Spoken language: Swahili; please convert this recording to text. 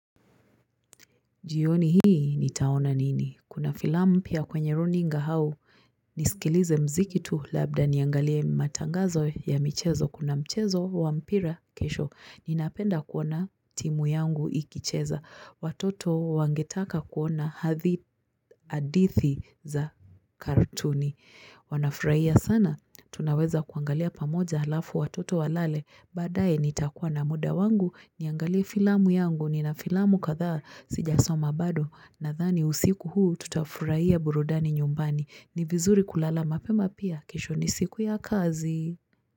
Jioni hii ni taona nini? Kuna filamu pia kwenye runinga hau. Nisikilize mziki tu labda niangalie matangazo ya michezo. Kuna mchezo wampira kesho. Ninapenda kuona timu yangu ikicheza. Watoto wangetaka kuona hadithi za kartuni. Wanafuraia sana, tunaweza kuangalia pamoja halafu watoto walale, baadaye nitakuwa na muda wangu, niangalie filamu yangu, ni na filamu kadhaa, sijasoma bado, na thani usiku huu tutafuraia burudani nyumbani, ni vizuri kulala mapema pia, kesho ni siku ya kazi.